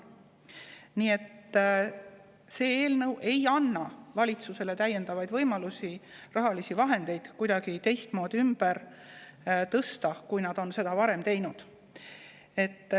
Nii et see eelnõu ei anna valitsusele täiendavaid võimalusi rahalisi vahendeid kuidagi teistmoodi ümber tõsta, kui seda on varem tehtud.